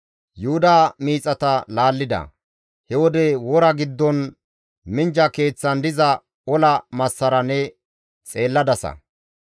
Yuhuda miixata laallida; he wode wora giddon minjja keeththan diza ola massara ne xeelladasa.